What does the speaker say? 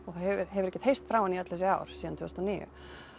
hefur hefur ekkert heyrst frá henni í öll þessi ár síðan tvö þúsund og níu